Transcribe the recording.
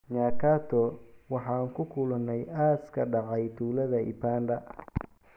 Nyakato: Waxaan ku kulanay aas ka dhacay tuulada Ibanda.